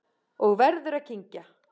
Og verður að kyngja.